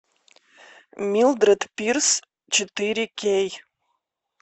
милдрет пирс четыре кей